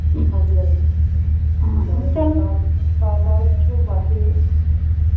ਹਾਂਜੀ ਹਾਂਜੀ ਸਾਲ ਸਾਲ ਪਿੱਛੋਂ ਵੱਧ ਦੇ ਆ